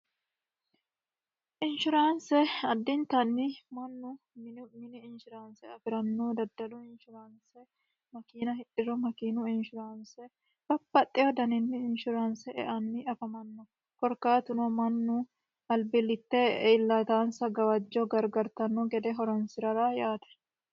inshuraanse addintanni mannu minu mini inshuraanse afi'ranno daddalu inshuraanse makiina hiidho makiinu inshuraanse babbaxxewo daninni inshuraanse eanni afamanno korkaatuno mannu albillitte iillitaansa gawajjo gargartanno gede horonsi'rara yaate